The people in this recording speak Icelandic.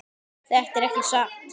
Þetta er ekki satt!